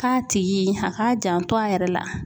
K'a tigi a k'a janto a yɛrɛ la